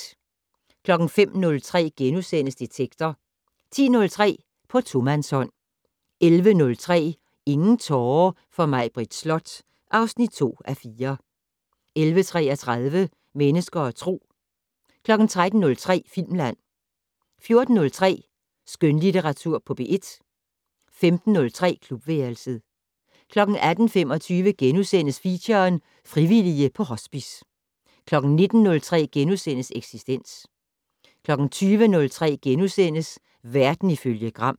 05:03: Detektor * 10:03: På tomandshånd 11:03: Ingen tårer for Maibritt Slot (2:4) 11:33: Mennesker og Tro 13:03: Filmland 14:03: Skønlitteratur på P1 15:03: Klubværelset 18:25: Feature: Frivillige på Hospice * 19:03: Eksistens * 20:03: Verden ifølge Gram *